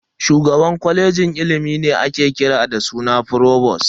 Shugaban kwalejin ilimi ne ake kira da suna "Frovost".